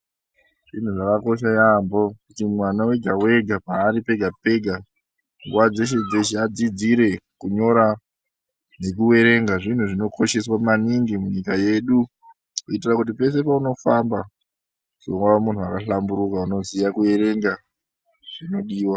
Zvinhu zvakakosha yampho kuti mwana wega wega paari pega pega nguwa dzeshe dzeshe adzidzire kunyora nekuerenga zvinhu zvinokosheswa maningi munyika yedu. Kuitira kuti peshe peunofamba uzova munhu akahlamburuka unoziya kuverenga zvinodiwa